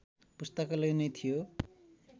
पुस्तकालय नै थियो